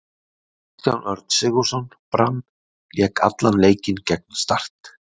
Kristján Örn Sigurðsson, Brann Lék allan leikinn gegn Start.